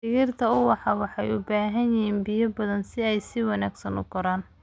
Dhirta ubaxa waxay u baahan yihiin biyo badan si ay si wanaagsan u koraan.